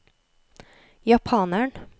japaneren